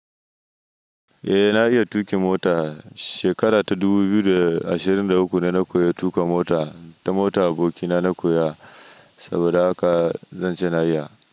Eh na iya tuƙi mota. Shekara ta dubu biyu da ashirin da uku na koyi tuƙa mota, ta motar abokina na koya saboda haka zan ce na iya.